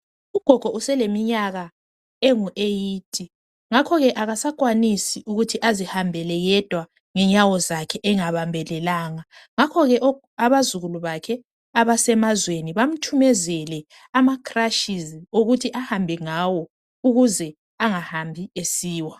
Ugogo useleminyaka engu"eighty",ngakho ke akasakwanisi ukuthi azihambele yedwa ngenyawo zakhe engabambelelanga ngakho ke abazukulu bakhe abasemazweni bamthumezele ama"crushes" okuthi ahambe ngawo ukuze angahambi esiwa.